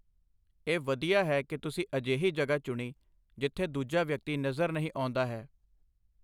ਇਹ ਵਧੀਆ ਹੈ ਕਿ ਤੁਸੀਂ ਅਜਿਹੀ ਜਗ੍ਹਾ ਚੁਣੀ, ਜਿੱਥੇ ਦੂਜਾ ਵਿਅਕਤੀ ਨਜ਼ਰ ਨਹੀਂ ਆਉਂਦਾ ਹੈ।